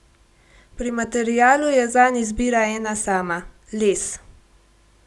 Pri materialu je zanj izbira ena sama: 'Les.